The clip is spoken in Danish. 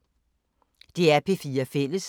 DR P4 Fælles